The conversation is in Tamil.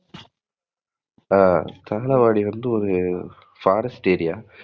ஆஹ் தாழவாடி வந்து ஒரு forest area